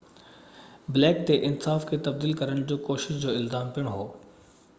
black تي انصاف کي تبديل ڪرڻ جي ڪوشش جو الزام پڻ هو